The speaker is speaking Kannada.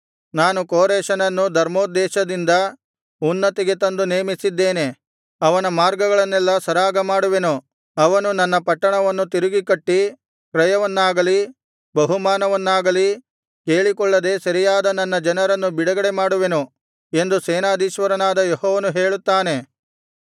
ನಾನು ಕೋರೆಷನನ್ನು ಧರ್ಮೋದ್ದೇಶದಿಂದ ಉನ್ನತಿಗೆ ತಂದು ನೇಮಿಸಿದ್ದೇನೆ ಅವನ ಮಾರ್ಗಗಳನ್ನೆಲ್ಲಾ ಸರಾಗಮಾಡುವೆನು ಅವನು ನನ್ನ ಪಟ್ಟಣವನ್ನು ತಿರುಗಿ ಕಟ್ಟಿ ಕ್ರಯವನ್ನಾಗಲೀ ಬಹುಮಾನವನ್ನಾಗಲೀ ಕೇಳಿಕೊಳ್ಳದೆ ಸೆರೆಯಾದ ನನ್ನ ಜನರನ್ನು ಬಿಡುಗಡೆ ಮಾಡುವೆನು ಎಂದು ಸೇನಾಧೀಶ್ವರನಾದ ಯೆಹೋವನು ಹೇಳುತ್ತಾನೆ